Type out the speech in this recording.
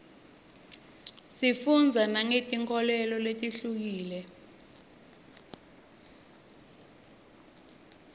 sifundza nangetinkholelo letihlukile